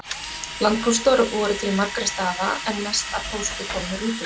Landpóstar voru til margra staða en mest af pósti kom með rútunum.